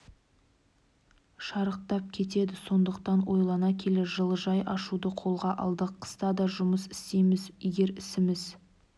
шарықтап кетеді сондықтан ойлана келе жылыжай ашуды қолға алдық қыста да жұмыс істейміз егер ісіміз